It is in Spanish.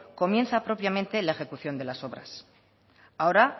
comienza propiamente la ejecución de las obras ahora